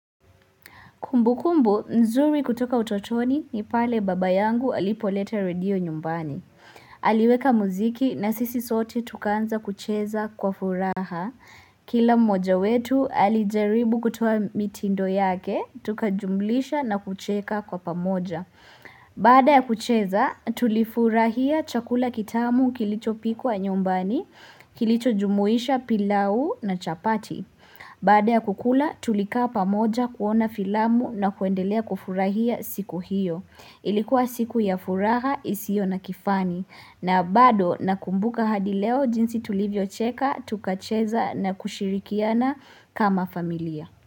Kumbukumbu, nzuri kutoka utotoni ni pale baba yangu alipoleta radio nyumbani. Aliweka muziki na sisi sote tukaanza kucheza kwa furaha. Kila mmoja wetu alijaribu kutoa mitindo yake, tukajumlisha na kucheka kwa pamoja. Baada ya kucheza, tulifurahia chakula kitamu kilichopikwa nyumbani, kilicho jumuisha pilau na chapati. Baada ya kukula tulikaa pamoja kuona filamu na kuendelea kufurahia siku hiyo. Ilikuwa siku ya furaha isiyo na kifani na bado nakumbuka hadi leo jinsi tulivyocheka tukacheza na kushirikiana kama familia.